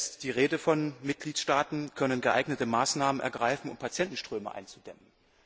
Da ist die Rede von Mitgliedstaaten können geeignete Maßnahmen ergreifen, um Patientenströme einzudämmen.